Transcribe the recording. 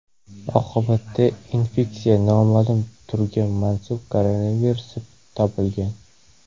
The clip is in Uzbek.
Oqibatda infeksiya noma’lum turga mansub koronavirus deb topilgan.